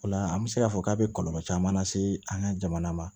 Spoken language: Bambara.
O la an bɛ se k'a fɔ k'a bɛ kɔlɔlɔ caman lase an ka jamana ma